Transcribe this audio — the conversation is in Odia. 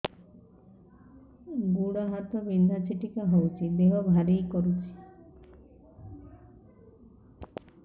ଗୁଡ଼ ହାତ ବିନ୍ଧା ଛିଟିକା ହଉଚି ଦେହ ଭାରି କରୁଚି